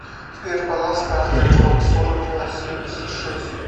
сбер баланс карты сбербанк сорок два семьдесят шесть